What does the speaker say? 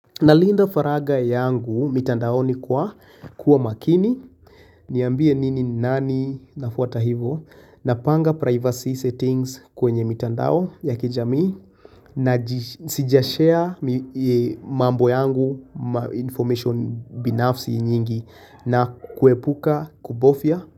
Nalinda faragha yangu mitandaoni kwa kuwa makini, niambie nini nani nafuta hivyo, napanga privacy settings kwenye mitandao ya kijamii. Naji sijashare mambo yangu information binafsi nyingi na kuepuka kubofya.